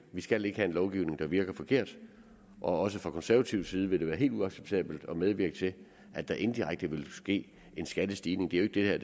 vi skal ikke have en lovgivning der virker forkert og også fra konservativ side vil det være helt uacceptabelt at medvirke til at der indirekte vil ske en skattestigning det er